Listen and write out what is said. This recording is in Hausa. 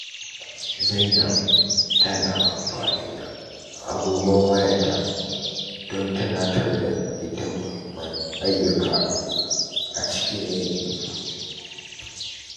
Zainab tana amfani da agogon wayarta don tunatar da ita mahimman ayyuka a cikin yini.